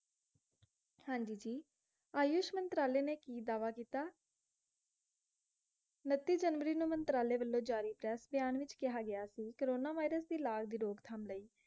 ਹਾਂਜੀ ਜੀ, ਆਯੂਸ਼ ਮੰਤਰਾਲੇ ਨੇ ਕੀ ਦਾਅਵਾ ਕਿੱਤਾ? ਉਨੱਤੀ ਜਨਵਰੀ ਨੂੰ ਮੰਤਰਾਲੇ ਵਲੋਂ ਜਾਰੀ ਪ੍ਰੈਸ ਬਿਆਨ ਵਿੱਚ ਕਿਹਾ ਗਿਆ ਸੀ, ਕੋਰੋਨਾ virus ਦੇ ਇਲਾਜ ਰੋਕਥਮ ਲਈ